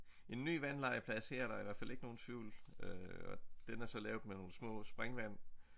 En ny vandlegeplads her der er i hvert fald ikke nogen tvivl øh og den er så lavet med nogle små springvand